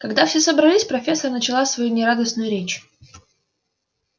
когда все собрались профессор начала свою нерадостную речь